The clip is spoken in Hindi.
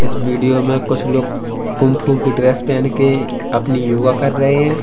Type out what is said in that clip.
इस वीडियो कुछ लोग कुंग फु की ड्रेस पहन के अपनी योगा कर रहे हैं।